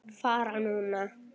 Fara núna?